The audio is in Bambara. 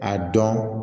A dɔn